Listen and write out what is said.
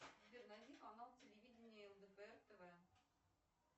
сбер найди канал телевидения лдпр тв